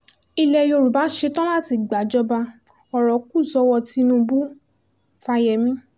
ilẹ̀ yorùbá ṣetán láti gbàjọba ọ̀rọ̀ kù sọ́wọ́ tinubu fáyemí